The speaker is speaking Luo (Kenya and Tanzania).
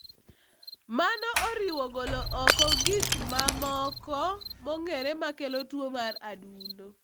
Mano oriwo golo oko gik mamoko mong'ere makelo tuwo mar adundo.